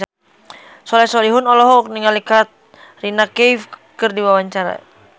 Soleh Solihun olohok ningali Katrina Kaif keur diwawancara